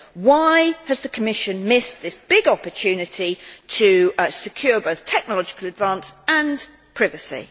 Why has the Commission missed this big opportunity to secure both technological advance and privacy?